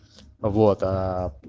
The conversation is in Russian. вот аа